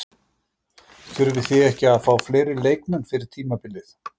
Þurfið þið þá ekki að fá fleiri leikmenn fyrir tímabilið?